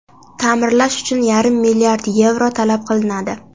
Ta’mirlash uchun yarim milliard yevro talab qilinadi.